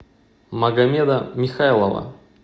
магомеда михайлова